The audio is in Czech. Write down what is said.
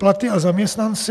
Platy a zaměstnanci.